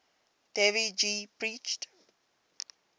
dev ji preached